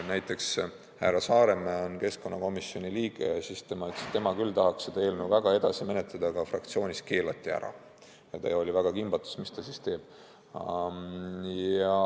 Näiteks härra Saaremäe, keskkonnakomisjoni liige, ütles, et tema küll tahaks seda eelnõu väga edasi menetleda, aga fraktsioonis keelati see ära, ja ta oli väga kimbatuses, mis ta teeb.